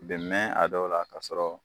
Bɛn mɛn a dɔw la k'a sɔrɔ